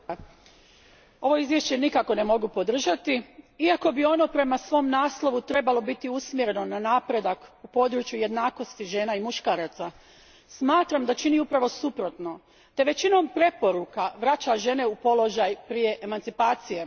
Gospodine predsjedniče, ovo izvješće nikako ne mogu podržati. Iako bi ono prema svom naslovu trebalo biti usmjereno na napredak u području jednakosti žena i muškaraca, smatram da čini upravo suprotno te većinom preporuka vraća žene u položaj prije emancipacije.